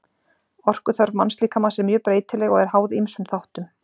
Orkuþörf mannslíkamans er mjög breytileg og er háð ýmsum þáttum.